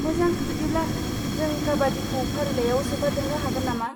मोजां बिदिब्ला, जों काबाड्डिखौ फारिलाइआव सोफादेरनो हागोन नामा?